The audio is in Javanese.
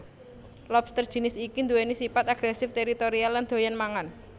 Lobster jinis iki nduwèni sipat agresif teritorial lan doyan mangan